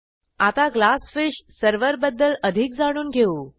आता GlassFish server बद्दल अधिक जाणून घेऊ